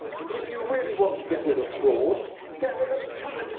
If you really want to get rid of fraud, get rid of the tax.